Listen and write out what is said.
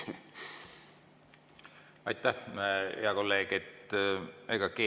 Aitäh, hea kolleeg!